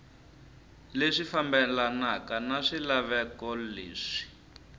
leswi fambelanaka na swilaveko leswi